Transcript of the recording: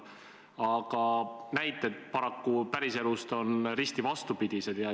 Aga näited päriselust on paraku risti vastupidised.